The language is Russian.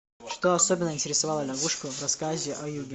что особенно интересовало лягушку в рассказе о юге